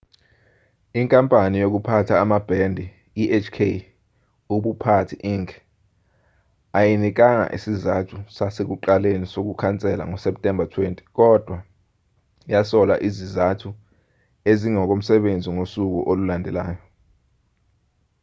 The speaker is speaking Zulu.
inkampani yokuphatha amabhendi ihk ubuphathi inc ayinikanga isizathu sasekuqaleni sokukhansela ngoseptemba 20 kodwa yasola izizathu ezingokomsebenzi ngosuku olulandelayo